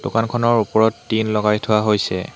দোকানখনৰ ওপৰত টিন লগাই থোৱা হৈছে।